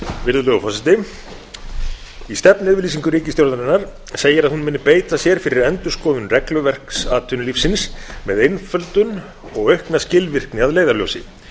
virðulegur forseti í stefnuyfirlýsingu ríkisstjórnarinnar segir að hún muni beita sér fyrir endurskoðun regluverks atvinnulífsins með einföldun og aukna skilvirkni að leiðarljósi